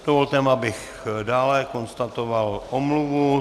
Dovolte, abych dále konstatoval omluvu.